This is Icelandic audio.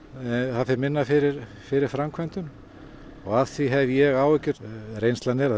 það fer minna fyrir fyrir framkvæmdum af því hef ég áhyggjur reynsla er að